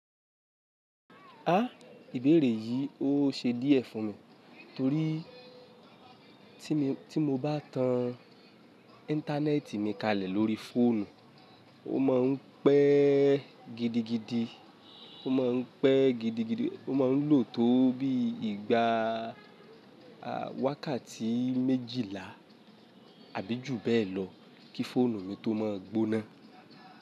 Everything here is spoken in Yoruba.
Á, ìbéèrè yìí ó ṣe díẹ̀ fún mi torí tí mo bá tan íńtánẹ́ẹ̀tì mi kalẹ̀ lórí fóònù, ó ma ń pẹ́ gidigidi, ó ma ń pẹ́ gidigidi, ó ma ń lò tó bí ìgbà wákàtí méjìlá àbí jù bẹ́ẹ̀ lọ kí fóònù mi tó máa gbóná.